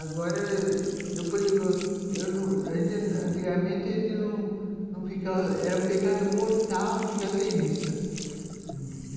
Agora, eu por exemplo, eu antigamente era um pecado mortal a gente ficar sem missa.